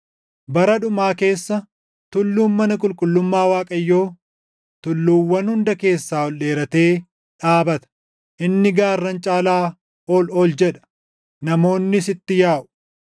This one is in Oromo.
Bara dhumaa keessa tulluun mana qulqullummaa Waaqayyoo tulluuwwan hunda keessaa ol dheeratee dhaabata; inni gaarran caalaa ol ol jedha; namoonnis itti yaaʼu.